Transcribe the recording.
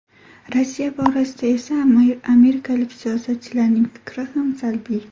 Rossiya borasida esa amerikalik siyosatchilarning fikri ham salbiy.